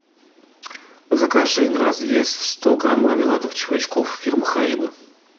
закажи на развес сто грамм мармеладных червячков фирмы харибо